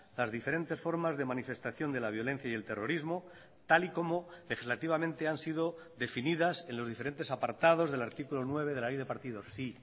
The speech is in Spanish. las diferentes formas de manifestación de la violencia y el terrorismo tal y como legislativamente han sido definidas en los diferentes apartados del artículo nueve de la ley de partidos sí